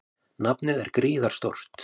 Nafnið er gríðarstórt.